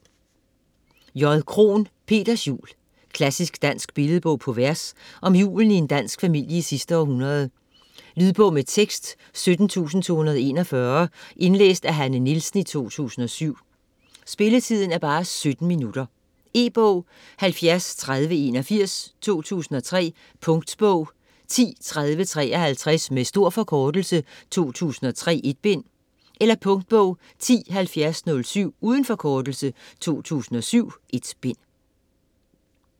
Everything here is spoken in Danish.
Krohn, J.: Peters jul Klassisk dansk billedbog på vers om julen i en dansk familie i sidste århundrede. Lydbog med tekst 17241 Indlæst af Hanne Nielsen, 2007. Spilletid: 0 timer, 17 minutter. E-bog 703081 2003. Punktbog 103053. Med stor forkortelse. 2003. 1 bind. Punktbog 107007. Uden forkortelse. 2007.1 bind.